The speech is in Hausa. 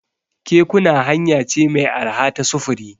Kekuna hanya ce mai arha ta sufuri.